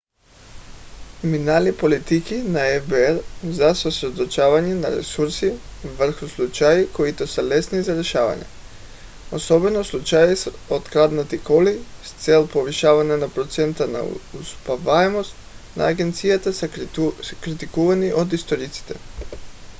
минали политики на фбр за съсредоточване на ресурси върху случаи които са лесни за решаване особено случаи с откраднати коли с цел повишаване на процента на успеваемост на агенцията са критикувани от историците